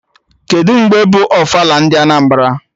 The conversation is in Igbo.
Kedụ mgbe bụ ofala ndị Anambra?